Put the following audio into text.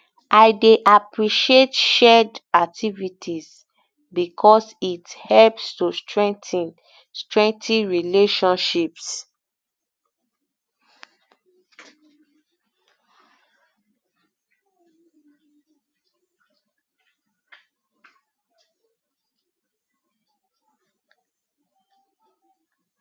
i dey appreciate shared um activities because it helps to strengthen strengthen relationships